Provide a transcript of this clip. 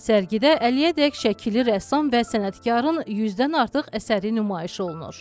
Sərgidə əlliyədək şəkili rəssam və sənətkarın yüzdən artıq əsəri nümayiş olunur.